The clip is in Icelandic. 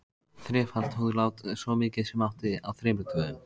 Þrefalt húðlát, svo mikið sem mátti, á þremur dögum.